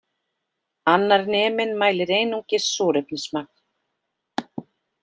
Annar neminn mælir einungis súrefnismagn